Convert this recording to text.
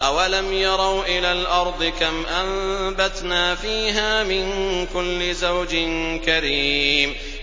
أَوَلَمْ يَرَوْا إِلَى الْأَرْضِ كَمْ أَنبَتْنَا فِيهَا مِن كُلِّ زَوْجٍ كَرِيمٍ